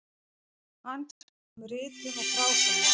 Handbók um ritun og frágang.